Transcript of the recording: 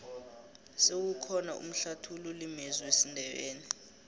sewukhona umhlathululi mezwi wesindebele